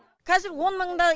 қазір он мыңдай